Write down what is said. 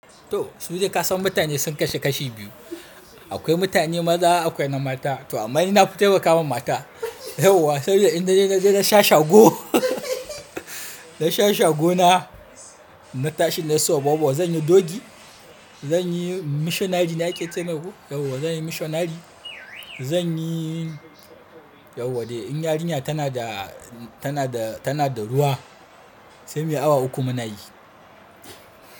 To, su dai kasan mutane sun kasu kashi biyu. Akwai mutane maza akwai na mata. To amma ni nafi taimakawa ma mata. Yauwa saboda in dai naje na sha shago, na sha shago na, na tashi nayi sobobo, zanyi doggy, zan yi missionary ne ake ce mai ko? Yauwa, zan yi missionary. Zan yi, yauwa dai in yarinya tana da, tana da, tana da ruwa sai me awa uku muna yi.